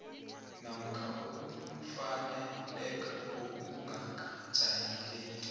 namkha ukufaneleka okungakajayeleki